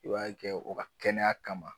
I b'a kɛ o ka kɛnɛya kama.